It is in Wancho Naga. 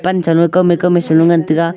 kaw me kaw me che ngan taiga.